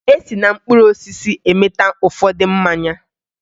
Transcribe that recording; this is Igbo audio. E si na mkpụrụ osisi emeta ụfọdụ mmanya